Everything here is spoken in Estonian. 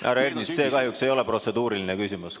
Härra Ernits, see kahjuks ei ole protseduuriline küsimus.